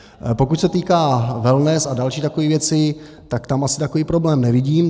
Pokud se týká wellness a dalších takových věcí, tak tam asi takový problém nevidím.